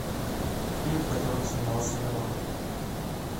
фильм в котором снимался миронов